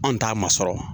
Anw t'a masɔrɔ